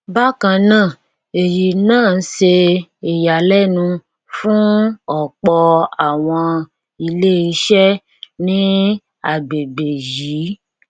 bákan náà eyi náà ṣe ìyàlénu fún ọpọ àwọn ilé iṣẹ ní agbègbè yìí